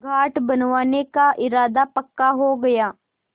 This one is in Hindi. घाट बनवाने का इरादा पक्का हो गया